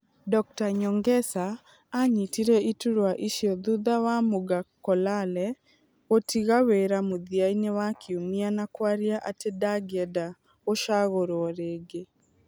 Dr Nyongesa aanyitire iturwa icio thutha wa Muga Kolale gũtiga wĩra mũthia-inĩ wa kiumia na kwaria atĩ ndangĩenda gũcagũrio rĩngĩ.